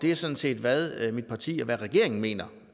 er sådan set hvad mit parti og regeringen mener